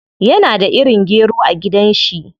Yana da irin gero a gidan shi.